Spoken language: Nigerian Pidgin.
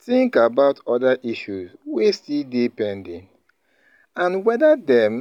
Think about oda issues wey still dey pending and wether dem